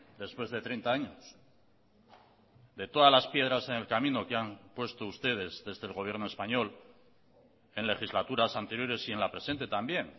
después de treinta años de todas las piedras en el camino que han puesto ustedes desde el gobierno español en legislaturas anteriores y en la presente también